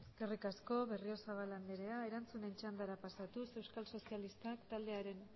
eskerrik asko berriozabal anderea erantzunen txandara pasatuz euskal sozialistak taldearen